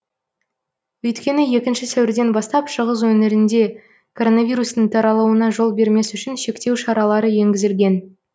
өйткені екінші сәуірден бастап шығыс өңірінде короновирустың таралуына жол бермес үшін шектеу шаралары еңгізілген